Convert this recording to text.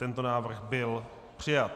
Tento návrh byl přijat.